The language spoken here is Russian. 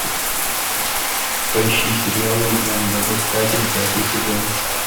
поищи сериал легенда об искателе пятый сезон